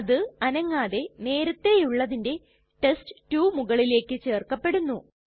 അത് അനങ്ങാതെ നേരത്തേയുള്ളതിന്റെ ടെസ്റ്റ്2 മുകളിലേക്ക് ചേർക്കപ്പെടുന്നു